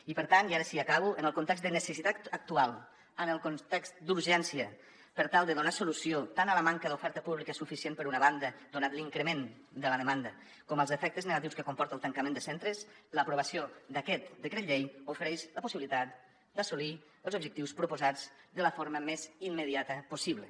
i per tant i ara sí acabo en el context de necessitat actual en el context d’urgència per tal de donar solució tant a la manca d’oferta pública suficient per una banda donat l’increment de la demanda com als efectes negatius que comporta el tancament de centres l’aprovació d’aquest decret llei ofereix la possibilitat d’assolir els objectius proposats de la forma més immediata possible